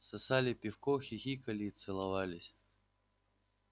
сосали пивко хихикали и целовались